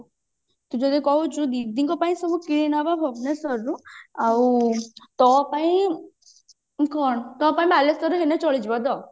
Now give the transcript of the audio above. ତୁ ଯଦି କହୁଛୁ ଦିଦିଙ୍କ ପାଇଁ ସବୁ କିଣିନବା ଭୁବନେଶ୍ଵରରୁ ଆଉ ତୋ ପାଇଁ କଣ ତୋ ପାଇଁ ବାଲେଶ୍ଵରରୁ ନେଲେ ଚଳିଯିବ ତ